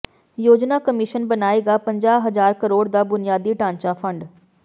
ਯੋਜਨਾ ਕਮਿਸ਼ਨ ਬਣਾਏਗਾ ਪੰਜਾਹ ਹਜ਼ਾਰ ਕਰੋੜ ਦਾ ਬੁਨਿਆਦੀ ਢਾਂਚਾ ਫੰਡ